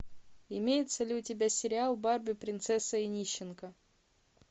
имеется ли у тебя сериал барби принцесса и нищенка